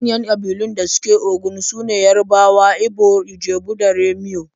Manyan ƙabilun da suke Ogun su ne Yarabawa, Igba, Ijebu da Remo.